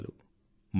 ధన్యవాదాలు